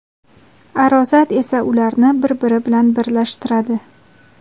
arosat esa ularni bir-biri bilan birlashtiradi.